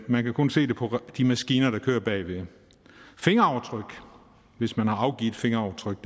man kan kun se det på de maskiner der kører bagved fingeraftryk hvis man har afgivet fingeraftryk